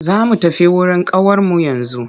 Za mu tafi wurin ƙawarmu yanzu.